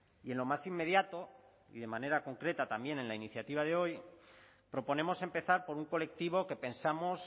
y en lo más inmediato y de manera concreta también en la iniciativa de hoy proponemos empezar por un colectivo que pensamos